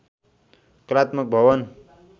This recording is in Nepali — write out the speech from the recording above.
कलात्मक भवन